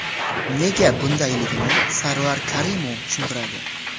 Nega bundayligini Sarvar Karimov tushuntiradi.